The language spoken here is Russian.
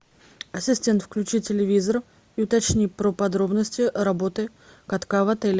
ассистент включи телевизор и уточни про подробности работы катка в отеле